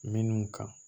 Minnu kan